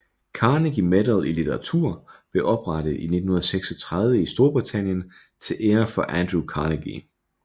Carnegie Medal i litteratur blev oprettet i 1936 i Storbritannien til ære for Andrew Carnegie